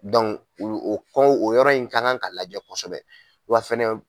o o o yɔrɔ in kan ka lajɛ kosɛbɛ wa fana